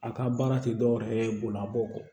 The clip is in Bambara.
A ka baara tɛ dɔwɛrɛ ye bololaburuw kɔ